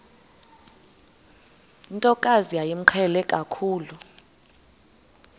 ntokazi yayimqhele kakhulu